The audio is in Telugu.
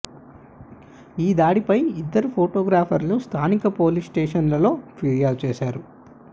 ఈ దాడిపై ఇద్దరూ ఫొటోగ్రాఫర్లు స్థానిక పోలీస్ స్టేషన్లో ఫిర్యాదు చేశారు